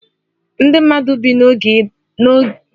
Ndị mmadụ bi n'oké ịda ogbenye na geto